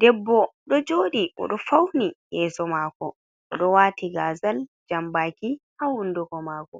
Debbo ɗo jooɗi. Oɗo fauni yeeso maako, oɗo waati gazal, jambaki, haa hunduko maako,